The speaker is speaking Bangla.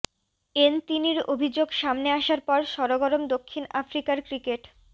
এনতিনির অভিযোগ সামনে আসার পর সরগরম দক্ষিণ আফ্রিকার ক্রিকেট